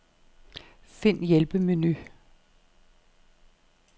Find hjælpemenu.